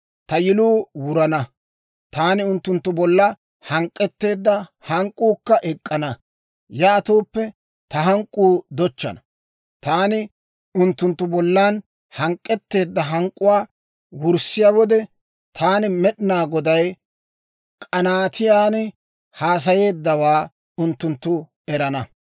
«Ta yiluu wurana; taani unttunttu bolla hank'k'etteedda hank'k'uukka ek'k'ana; yaatooppe ta hank'k'uu dochchana. Taani unttunttu bollan hank'k'etteedda hank'k'uwaa wurssiyaa wode, taani Med'inaa Goday k'anaatiyaan haasayeeddawaa unttunttu erana.